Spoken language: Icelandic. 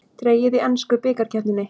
Dregið í ensku bikarkeppninni